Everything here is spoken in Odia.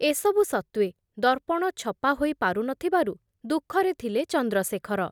ଏ ସବୁ ସତ୍ତ୍ଵେ ଦର୍ପଣ ଛପା ହୋଇ ପାରୁ ନଥିବାରୁ ଦୁଃଖରେ ଥିଲେ ଚନ୍ଦ୍ରଶେଖର ।